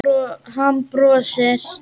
Hann brosir.